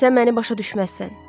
Sən məni başa düşməzsən.